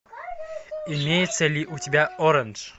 имеется ли у тебя оранж